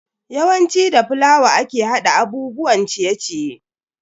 Yawanci da fulawa ake hada abubuwan ciye-ciye.